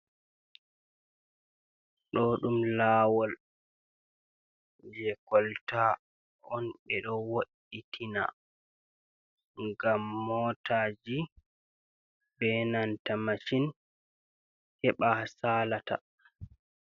Ɗo ɗum lawol je kolta on ɓe ɗo woitina gam motaji be nanta macin heɓa ha salata.